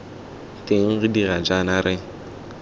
teng re dira jaana re